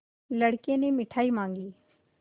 लड़के ने मिठाई मॉँगी